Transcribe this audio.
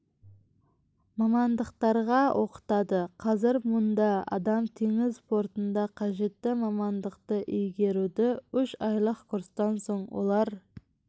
мамандықтарға оқытады қазір мұнда адам теңіз портына қажетті мамандықты игеруде үш айлық курстан соң олар